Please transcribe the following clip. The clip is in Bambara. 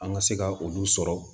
An ka se ka olu sɔrɔ